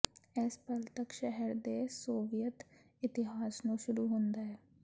ਇਸ ਪਲ ਤੱਕ ਸ਼ਹਿਰ ਦੇ ਸੋਵੀਅਤ ਇਤਿਹਾਸ ਨੂੰ ਸ਼ੁਰੂ ਹੁੰਦਾ ਹੈ